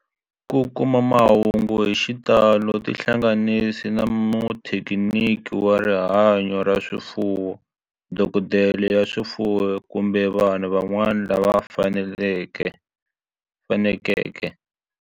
Ku kuma mahungu hi xitalo tihlanganisi na muthekiniki wa rihanyo ra swifuwo, dokodela ya swifuwo, kumbe vanhu van'wana lava fanelekeke.